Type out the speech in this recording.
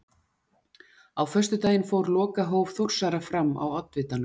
Á föstudaginn fór lokahóf Þórsara fram á Oddvitanum.